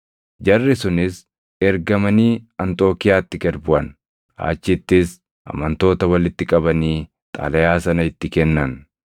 Jarri sunis ergamanii Anxookiiyaatti gad buʼan; achittis amantoota walitti qabanii xalayaa sana itti kennan.